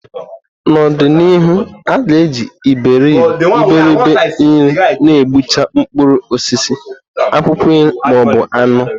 N'ọdị n'ihu, a ga-eji Iberibe-nri na-egbucha mkpụrụ osisi, akwụkwọ nri, ma ọ bụ anụ.